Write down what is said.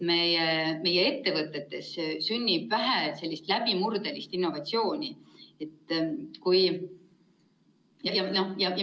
Meie ettevõtetes sünnib vähe läbimurdelist innovatsiooni.